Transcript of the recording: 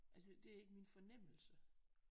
Altså det er ikke min fornemmelse